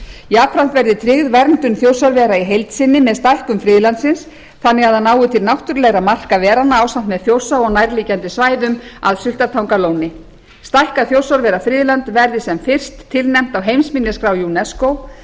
jafnframt verði tryggð verndun þjórsárvera í heild sinni með stækkun friðlandsins þannig að það nái til náttúrulegra marka veranna ásamt með þjórsá og nærliggjandi svæðum að sultartangalóni stækkað þjórsárverafriðland verði sem fyrst tilnefnt á heimsminjaskrá unesco